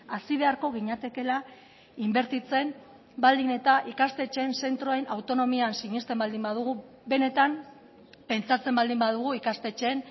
hasi beharko ginatekeela inbertitzen baldin eta ikastetxeen zentroen autonomian sinesten baldin badugu benetan pentsatzen baldin badugu ikastetxeen